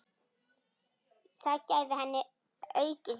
Það gæfi henni aukið gildi.